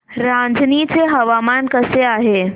रांझणी चे हवामान कसे आहे